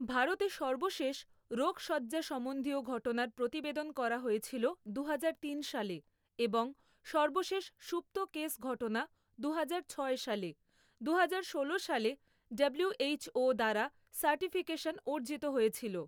ভারতে সর্বশেষ রোগশয্যাসম্বন্ধীয় ঘটনার প্রতিবেদন করা হয়েছিল দুহাজার তিন সালে, এবং সর্বশেষ সুপ্ত কেস ঘটনা দুহাজার ছয় সালে; দুহাজার ষোলো সালে ডাব্লিউএইচও দ্বারা সার্টিফিকেশন অর্জিত হয়েছিল।